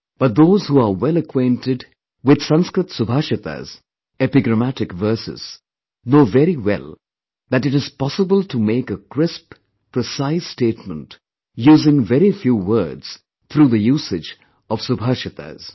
But those who are well acquainted with Sanskrit Subhashitas epigrammatic verses, know very well that it is possible to make a crisp, precise statement, using very few words through the usage of subhashitas